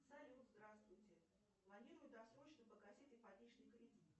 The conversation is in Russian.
салют здравствуйте планирую досрочно погасить ипотечный кредит